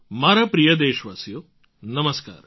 મારા પ્રિય દેશવાસીઓ નમસ્કાર